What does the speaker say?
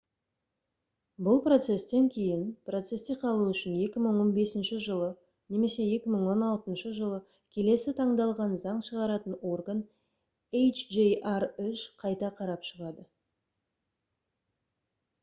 бұл процестен кейін процесте қалу үшін 2015 жылы немесе 2016 жылы келесі таңдалған заң шығаратын орган hjr-3 қайта қарап шығады